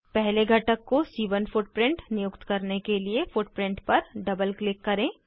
पहले घटक को सी1 फुटप्रिंट नियुक्त करने के लिए फुटप्रिंट पर डबल क्लिक करें